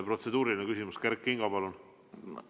Protseduuriline küsimus, Kert Kingo, palun!